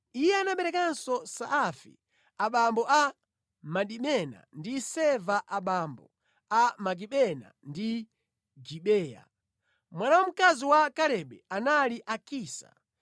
Iye anaberekanso Saafi abambo a Madimena ndi Seva abambo a Makibena ndi Gibeya. Mwana wamkazi wa Kalebe anali Akisa.